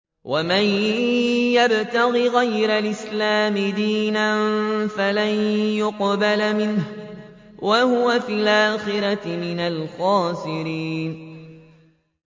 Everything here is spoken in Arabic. وَمَن يَبْتَغِ غَيْرَ الْإِسْلَامِ دِينًا فَلَن يُقْبَلَ مِنْهُ وَهُوَ فِي الْآخِرَةِ مِنَ الْخَاسِرِينَ